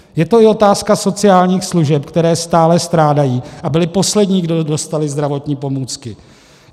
Je to i otázka sociálních služeb, které stále strádají a byly poslední, kdo dostaly zdravotní pomůcky.